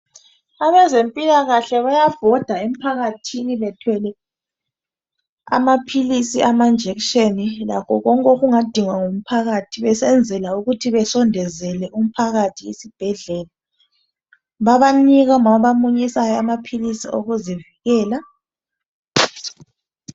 Abezempilakahle bayabhoda emphakathini bethwele amaphilisi, amajekiseni lakho konke okungadingwa ngumphakathi besenzela ukuthi besondezele umphakathi isibhedlela bayanika omama abamunyisayo amaphilisi okuzivikela.